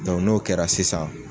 n'o kɛra sisan.